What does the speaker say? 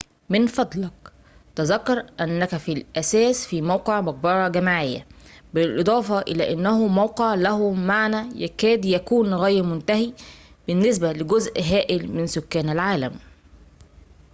من فضلك تذكر أنك في الأساس في موقع مقبرة جماعية بالإضافة إلى أنه موقع له معنى يكاد يكون غير متناهي بالنسبة لجزء هائل من سكان العالم